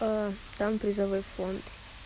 а там призовой фонд